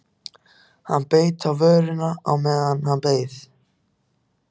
Hann beit á vörina á meðan hann beið.